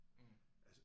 Mh